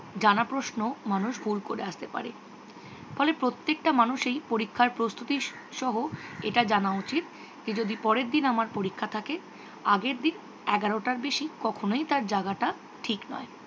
জানা প্রশ্নও মানুষ ভুল করে আসতে পারে। ফলে প্রত্যেকটা মানুষেরই পরীক্ষার প্রস্তুতি সহ এটা জানা উচিত যে যদি পরের দিন আমার পরীক্ষা থাকে আগের দিন এগারোটার বেশি কখনওই তার জাগাটা ঠিক নয়।